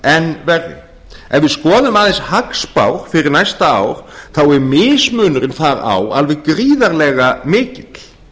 ef við skoðum aðeins hagspár fyrir næsta ár er mismunurinn þar á alveg gríðarlega mikill